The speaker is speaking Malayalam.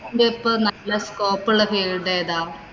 ഇതിപ്പം നല്ല scope ഉള്ള field ഏതാ?